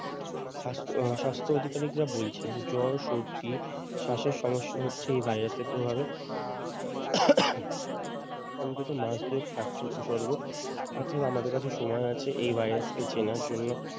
সাস্থ উম স্বাস্থ্য অধিকারীকরা বলছেন জ্বর সর্দি শ্বাসের সমস্যা হচ্ছে এই ভাইরাস প্রভাবে অন্তত মাস দুয়েক থাকছে উপসর্গ অর্থাৎ আমাদের কাছে সময় আছে এই ভাইরাসকে চেনার জন্য।